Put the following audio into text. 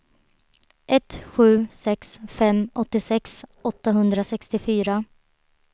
ett sju sex fem åttiosex åttahundrasextiofyra